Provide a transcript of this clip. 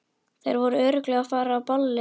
Þær voru örugglega að fara á ballið.